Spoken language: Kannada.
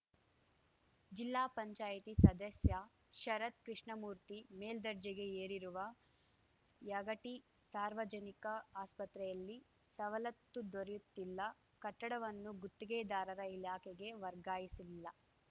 ಜಿಲ್ಲಾಪಂಚಾಯತಿ ಸದಸ್ಯ ಶರತ್‌ ಕೃಷ್ಣಮೂರ್ತಿ ಮೇಲ್ದರ್ಜೆಗೆ ಏರಿರುವ ಯಗಟಿ ಸಾರ್ವಜನಿಕ ಆಸ್ಪತ್ರೆಯಲ್ಲಿ ಸವಲತ್ತು ದೊರೆಯುತ್ತಿಲ್ಲ ಕಟ್ಟಡವನ್ನು ಗುತ್ತಿಗೆದಾರರ ಇಲಾಖೆಗೆ ವರ್ಗಾಯಿಸಿಲ್ಲ